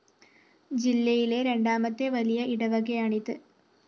ജില്ലയിലെ രണ്ടാമത്തെ വലിയ ഇടവകയാണിത്